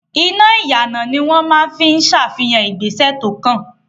Iná ìyànà ni wọ́n máa ń fi ń ṣàfihàn ìgbésẹ̀ tó kàn.